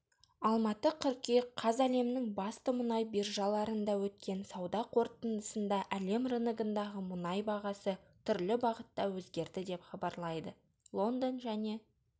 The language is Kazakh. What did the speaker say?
алматы қыркүйек қаз әлемнің басты мұнай биржаларында өткен сауда қортындысында әлем рыногындағы мұнай бағасы түрлі бағытта өзгерді деп хабарлайды лондон және